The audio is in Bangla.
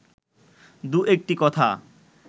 দু-একটি কথা